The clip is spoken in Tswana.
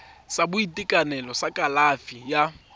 sa boitekanelo sa kalafi ya